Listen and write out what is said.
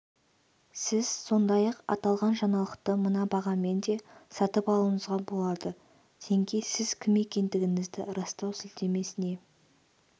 сіз сондай-ақ аталған жаңалықты мына бағамен де сатып алуыңызға болады тенге сіз кім екендігіңізді растау сілтемесіне